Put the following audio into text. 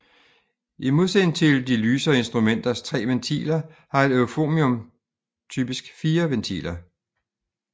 I modsætning til de lysere instrumenters 3 ventiler har et euphonium typisk 4 ventiler